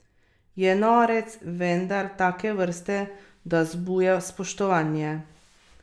Je norec, vendar take vrste, da vzbuja spoštovanje.